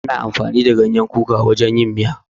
Ana amfani da ganyen kuka wajen yin miya.